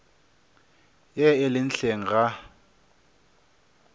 ye e lego hleng ga